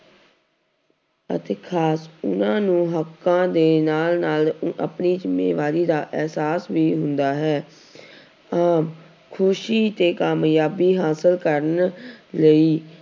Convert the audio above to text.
ਅਤੇ ਖ਼ਾਸ ਉਹਨਾਂ ਨੂੰ ਹੱਕਾਂ ਦੇ ਨਾਲ ਨਾਲ ਆਪਣੀ ਜ਼ਿੰਮੇਵਾਰੀ ਦਾ ਅਹਿਸਾਸ ਵੀ ਹੁੰਦਾ ਹੈ ਆਮ ਖ਼ੁਸ਼ੀ ਤੇ ਕਾਮਯਾਬੀ ਹਾਸ਼ਿਲ ਕਰਨ ਲਈ